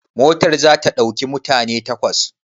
Motar za ta ɗauki mutane takwas?